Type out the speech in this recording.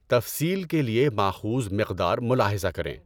تفصیل کے لیے ماخوذ مقدار ملاحظہ کریں۔